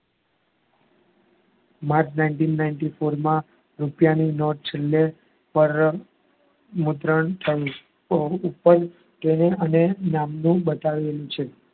March nineteen ninety four માં રૂપિયાની note છેલ્લે મુદ્રણ થઈ